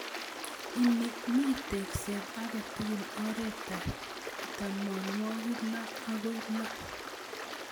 Ini mi tekset agetugul oret ap tamanwogik loo ak loo